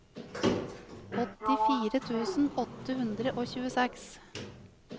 åttifire tusen åtte hundre og tjueseks